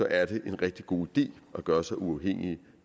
er en rigtig god idé at gøre sig uafhængig